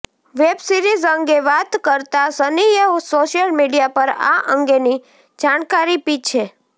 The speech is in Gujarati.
વેબ સિરિઝ અંગે વાત કરતા સનીએ સોશિયલ મિડિયા પર આ અંગેની જાણકારી પી છે